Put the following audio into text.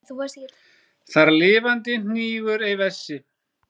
Þar lifandi hnígur ei vessi.